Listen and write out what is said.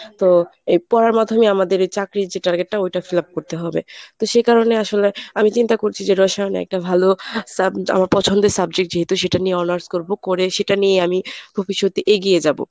তো এই পড়ার মাধ্যমে আমাদের এই চাকরির যে target টা ওইটা fill up করতে হবে। তো সেই কারণে আসলে আমি চিন্তা করছি যে রসায়নে একটা ভালো আমার পছন্দের subject যেহেতু সেটা নিয়ে honours করবো করে সেটা নিয়েই আমি ভবিষ্যতে এগিয়ে যাবো।